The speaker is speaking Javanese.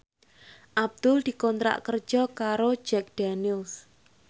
Abdul dikontrak kerja karo Jack Daniels